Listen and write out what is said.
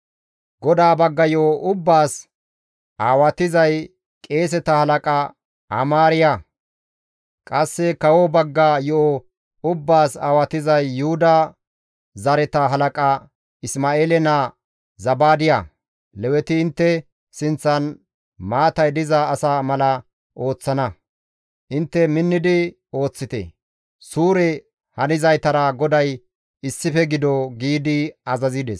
GODAA bagga yo7o ubbaas aawatizay qeeseta halaqa Amaariya; qasse kawo bagga yo7o ubbaas aawatizay Yuhuda zareta halaqa Isma7eele naa Zabaadiya. Leweti intte sinththan maatay diza asa mala ooththana. Intte minnidi ooththite; Suure hanizaytara GODAY issife gido» giidi azazides.